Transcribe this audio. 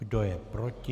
Kdo je proti?